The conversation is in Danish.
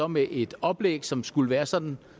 med et oplæg som skulle være sådan